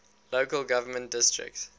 local government districts